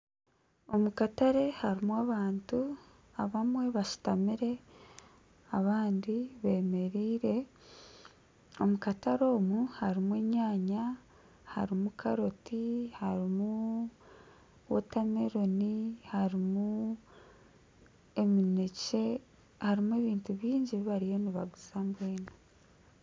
Omu katare harimu abantu abamwe bashutamire abandi bemereire, omu katare omu harimu enyanya harimu karoti harimu watermeloni harimu eminekye harimu ebintu bingi ebi bariyo nibaguza .